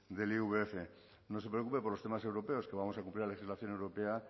del ivf no se preocupe por los temas europeos que vamos a cumplir la legislación europea